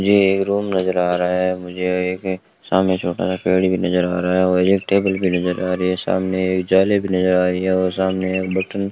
ये एक रूम नजर आ रहा है मुझे एक सामने छोटा सा पेड़ भी नजर आ रहा है और एक टेबल भी नजर आ रही है सामने एक जाले भी नजर आ रही है और सामने बटन --